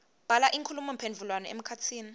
bhala inkhulumomphendvulwano emkhatsini